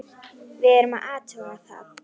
Við verðum að athuga það.